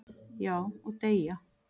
"""Já, og deyja"""